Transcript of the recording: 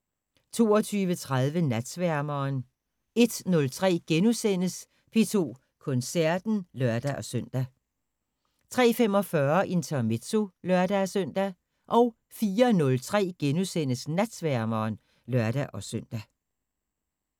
22:30: Natsværmeren 01:03: P2 Koncerten *(lør-søn) 03:45: Intermezzo (lør-søn) 04:03: Natsværmeren *(lør-søn)